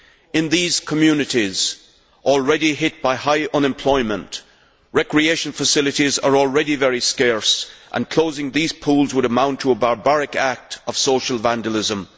In these communities already hit by high unemployment, recreation facilities are already very scarce, and closing these pools would amount to a barbaric act of social vandalism.